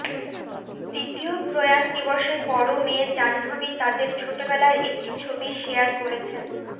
দ্বিতীয় প্রয়াণ দিবসে বড় মেয়ে জাহ্নবী তাদের ছোটবেলার একটি ছবি শেয়ার করেছেন